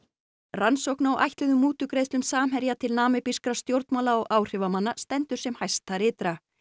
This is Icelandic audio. rannsókn á ætluðum mútugreiðslum Samherja til stjórnmála og áhrifamanna stendur sem hæst þar ytra